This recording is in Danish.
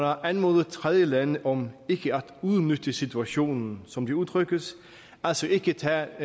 har anmodet tredjelande om ikke at udnytte situationen som det udtrykkes altså ikke at tage